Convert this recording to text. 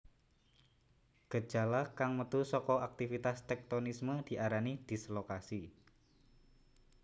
Gejala kang metu saka aktivitas téktonisme diarani dislokasi